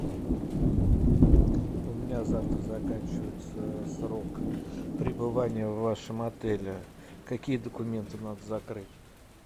у меня завтра заканчивается срок пребывания в вашем отеле какие документы надо закрыть